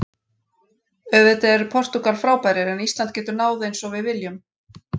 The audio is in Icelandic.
Auðvitað eru Portúgal frábærir en Ísland getur náð eins og við viljum.